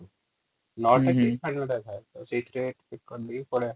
ହୁଁ ହୁଁ ନଅଟା କି ସାଢେ ନଅଟା ରେ ଥାଏ ସେଇଥିରେ pick କରିଦେଇ ପଳେଇଆ